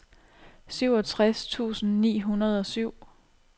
syvogtres tusind ni hundrede og syv